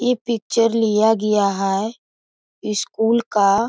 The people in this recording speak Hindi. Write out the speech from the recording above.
इ पिक्चर लिया गया है स्कूल का ।